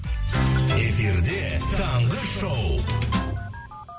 эфирде таңғы шоу